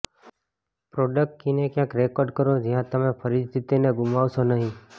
product કીને ક્યાંક record કરો જ્યાં તમે ફરીથી તેને ગુમાવશો નહીં